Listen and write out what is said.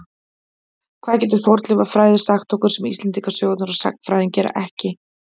Hvað getur fornleifafræði sagt okkur sem Íslendingasögurnar og sagnfræðin geta ekki?